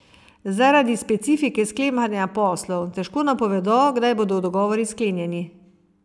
Zaradi specifike sklepanja poslov težko napovedo, kdaj bodo dogovori sklenjeni.